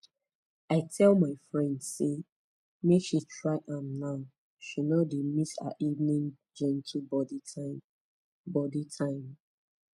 i tell my friend say make she try am now she no dey miss her evening gentle body time body time